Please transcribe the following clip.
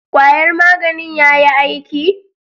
Kwayar maganin yayi aiki?